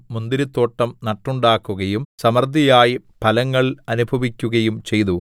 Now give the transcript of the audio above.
മുന്തിരിത്തോട്ടം നട്ടുണ്ടാക്കുകയും സമൃദ്ധിയായി ഫലങ്ങൾ അനുഭവിക്കുകയും ചെയ്തു